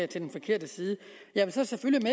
til den forkerte side jeg vil så selvfølgelig